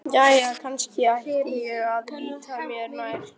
Jæja, kannski ætti ég að líta mér nær.